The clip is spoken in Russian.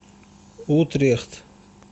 утрехт